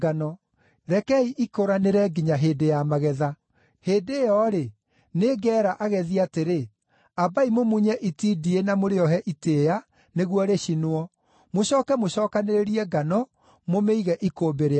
Rekei ikũranĩre nginya hĩndĩ ya magetha. Hĩndĩ ĩyo-rĩ, nĩngeera agethi atĩrĩ: Ambai mũmunye itindiĩ na mũrĩohe itĩĩa, nĩguo rĩcinwo; mũcooke mũcookanĩrĩrie ngano, mũmĩige ikũmbĩ rĩakwa.’ ”